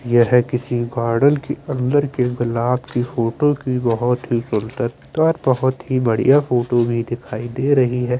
यह किसी गार्डन की अंदर के गुलाब की फोटो की बहोत ही सुंदरता बहोत ही बढ़िया फोटो भी दिखाई दे रही है।